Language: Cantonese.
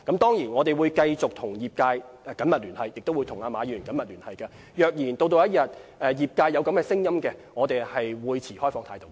當然，我們會繼續跟業界及馬議員緊密聯繫，如果業界要求，我們會持開放態度。